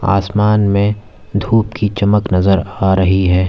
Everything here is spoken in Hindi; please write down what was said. आसमान में धूप की चमक नजर आ रही है।